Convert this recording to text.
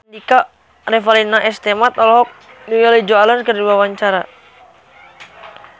Revalina S. Temat olohok ningali Joan Allen keur diwawancara